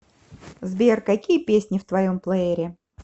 сбер какие песни в твоем плеере